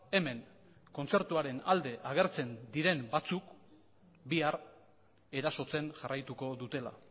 hemen kontzertuaren alde agertzen diren batzuk bihar erasotzen jarraituko dutela